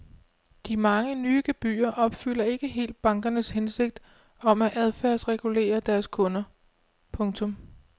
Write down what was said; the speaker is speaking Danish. De mange nye gebyrer opfylder ikke helt bankernes hensigt om at adfærdsregulere deres kunder. punktum